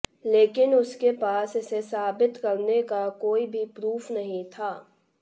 लेकिन उसके पास इसे साबित करने का कोई भी प्रूफ नहीं था